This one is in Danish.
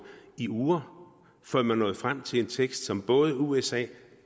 i uger før man nåede frem til en tekst som både usa